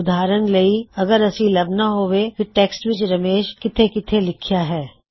ਉਦਾਹਰਣ ਲਈ ਅੱਗਰ ਅਸੀ ਲੱਭਣਾ ਹੇਵੇ ਕੀ ਟੈਕ੍ਸਟ ਵਿੱਚ ਰਮੇਸ਼ ਕਿੱਥੇ ਕਿੱਥੇ ਲਿਖਿਆਂ ਹੈ